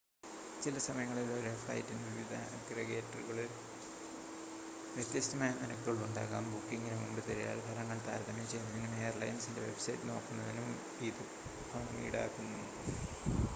ചില സമയങ്ങളിൽ ഒരേ ഫ്ലൈറ്റിന് വിവിധ അഗ്രഗേറ്ററുകളിൽ വ്യത്യസ്‌തമായ നിരക്കുകൾ ഉണ്ടാകാം ബുക്കിംഗിന് മുമ്പ് തിരയൽ ഫലങ്ങൾ താരതമ്യം ചെയ്യുന്നതിനും എയർലൈനിൻ്റെ വെബ്‌സൈറ്റ് നോക്കുന്നതിനും ഇത് പണം ഈടാക്കുന്നു